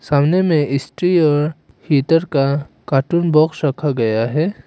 सामने में स्त्री और हीटर का कार्टून बॉक्स रखा गया है।